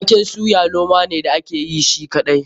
Waken suya noma ne da ake yi shi kaɗai.